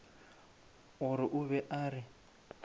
gore o be a re